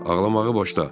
Ağlamağı boşda.